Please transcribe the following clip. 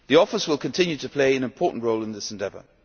EASO will continue to play an important role in this endeavour.